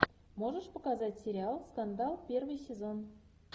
можешь показать сериал скандал первый сезон